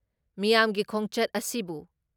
ꯃꯤꯌꯥꯝꯒꯤ ꯈꯣꯡꯆꯠ ꯑꯁꯤꯕꯨ